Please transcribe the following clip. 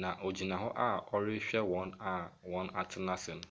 na ɔgyina hɔ a ɔrehwɛ wɔn a wɔatena ase no.